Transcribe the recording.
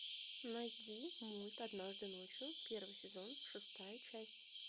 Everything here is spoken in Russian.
найди мульт однажды ночью первый сезон шестая часть